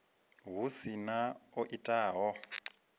hu si na o itaho